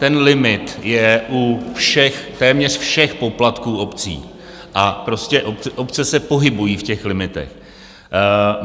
Ten limit je téměř u všech poplatků obcí a prostě obce se pohybují v těch limitech.